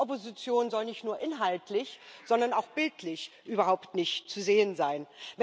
Die Opposition soll nicht nur inhaltlich, sondern auch bildlich überhaupt nicht zu sehen sein.